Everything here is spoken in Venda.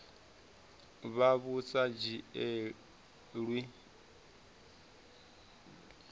vha vhu sa dzhielwi nha